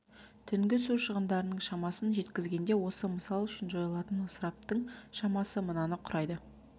түнгі су шығындарының шамасын жеткізгенде осы мысал үшін жойылатын ысыраптың шамасы мынаны құрайды